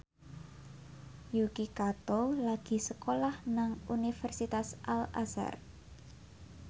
Yuki Kato lagi sekolah nang Universitas Al Azhar